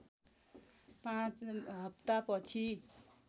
५ हप्ता पछि